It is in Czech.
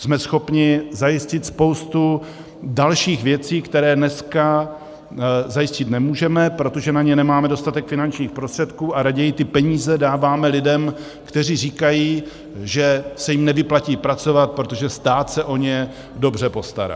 Jsme schopni zajistit spoustu dalších věcí, které dnes zajistit nemůžeme, protože na ně nemáme dostatek finančních prostředků a raději ty peníze dáváme lidem, kteří říkají, že se jim nevyplatí pracovat, protože stát se o ně dobře postará.